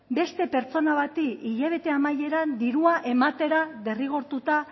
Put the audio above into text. beste pertsona bat hilabete amaieran dirua ematera derrigortuta